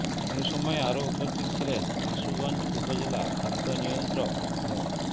এ সময় আরো উপস্থিত ছিলেন আশুগঞ্জ উপজেলা খাদ্য নিয়ন্ত্রক মো